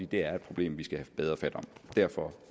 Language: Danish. det er et problem vi skal have bedre fat om derfor